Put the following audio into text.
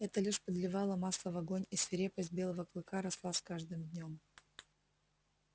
это лишь подливало масла в огонь и свирепость белого клыка росла с каждым днём